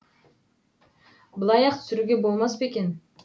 былай ақ түсіруге болмас па екен